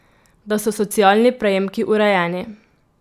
Da so socialni prejemki urejeni.